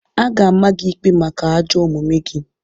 A ga-ama gị ikpe maka ajọ omume gị!